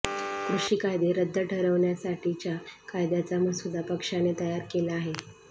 कृषी कायदे रद्द ठरवण्यासाठीच्या कायद्याचा मसुदा पक्षाने तयार केला आहे